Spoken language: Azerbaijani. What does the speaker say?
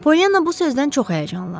Polyanna bu sözdən çox həyəcanlandı.